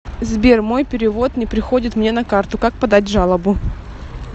сбер мой перевод не приходит мне на карту как подать жалобу